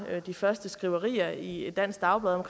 de første skriverier i et dansk dagblad om